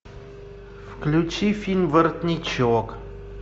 включи фильм воротничок